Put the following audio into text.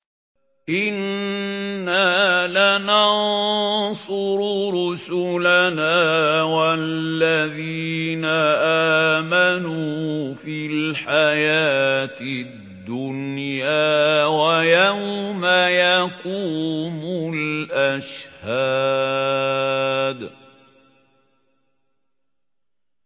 إِنَّا لَنَنصُرُ رُسُلَنَا وَالَّذِينَ آمَنُوا فِي الْحَيَاةِ الدُّنْيَا وَيَوْمَ يَقُومُ الْأَشْهَادُ